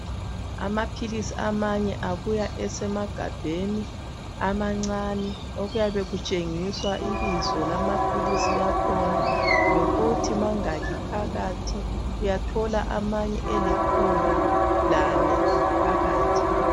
Amaphilisi amanye abuya esemagabheni amancani okuyabe kutshengiswa ibizo lamaphilisi akhona lokuthi mangaki phakathiUyathola amanye elikhulu lane phakathi.